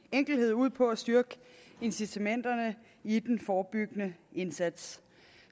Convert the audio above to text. enkelhed ud på at styrke incitamenterne i den forebyggende indsats